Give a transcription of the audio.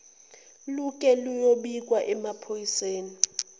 luke luyobikwa emaphoyiseni